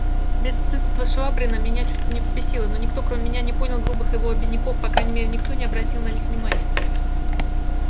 бесстыдство швабрина меня чуть не взбесило но никто кроме меня не понял грубых его обиняков по крайней мере никто не обратил на них внимания